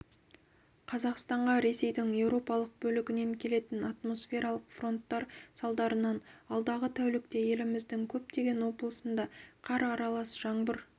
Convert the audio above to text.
қазақстанға ресейдің еуропалық бөлігінен келетін атмосфералық фронттар салдарынан алдағы тәулікте еліміздің көптеген облысында қар аралас жаңбыр